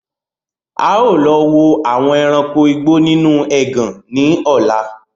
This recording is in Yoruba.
Áà lọ wò àwọn ẹranko igbó nínú ẹgàn ni ọ̀la